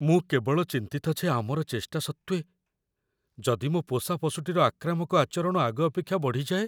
ମୁଁ କେବଳ ଚିନ୍ତିତ ଯେ ଆମର ଚେଷ୍ଟା ସତ୍ତ୍ୱେ, ଯଦି ମୋ ପୋଷା ପଶୁଟିର ଆକ୍ରାମକ ଆଚରଣ ଆଗ ଅପେକ୍ଷା ବଢ଼ି ଯାଏ!